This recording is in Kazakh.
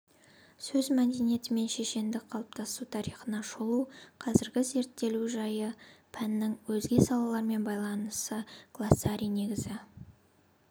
сөз мәдениеті мен шешендіктің қалыптасу тарихына шолу қазіргі зерттелу жайы пәннің өзге салалармен байланысы глоссарий негізгі